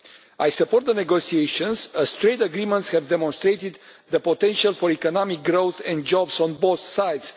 I support the negotiations, as trade agreements have demonstrated the potential for economic growth and jobs on both sides.